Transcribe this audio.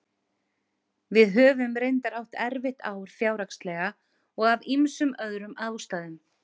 Við höfum reyndar átt erfitt ár fjárhagslega og af ýmsum öðrum ástæðum.